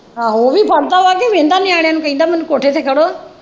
ਆਹੋ ਉਹ ਵੀ ਫੜਦਾ ਹੈ ਕ ਨਿਆਣਿਆਂ ਨੂੰ ਕਹਿੰਦਾ ਮੈਨੂੰ ਕੋਠੇ ਤੇ ਚੜ੍ਹੋ।